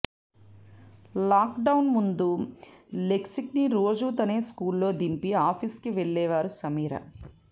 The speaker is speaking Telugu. లాక్డౌన్కు ముందు లెక్స్ని రోజూ తనే స్కూల్లో దింపి ఆఫీస్కి వెళ్లేవారు సమీర